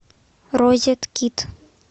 розеткид